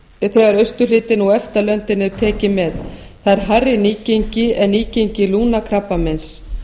who globocan þegar austurhlutinn og efta löndin eru tekin með það er hærra nýgengi en nýgengi lungnakrabbameins